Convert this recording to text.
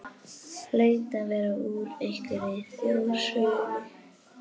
Hlaut að vera úr einhverri þjóðsögunni.